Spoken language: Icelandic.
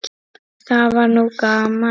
Það var nú gaman.